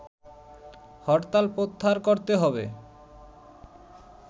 হরতাল প্রত্যাহার করতে হবে